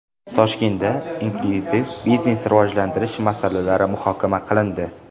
Toshkentda inklyuziv biznesni rivojlantirish masalalari muhokama qilindi.